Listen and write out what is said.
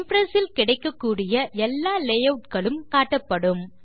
Impress இல் கிடைக்கக்கூடிய எல்லா லேயூட் களும் காட்டப்படும்